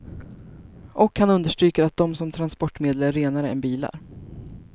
Och han understryker att de som transportmedel är renare än bilar.